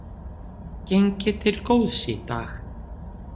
Gengið til góðs í dag